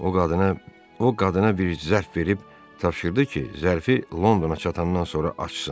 O qadına, o qadına bir zərf verib tapşırdı ki, zərfi Londona çatandan sonra açsın.